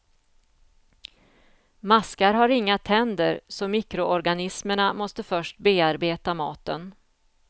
Maskar har inga tänder så mikroorganismerna måste först bearbeta maten.